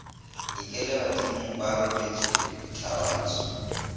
ikela badimong ba robaletše thabantsho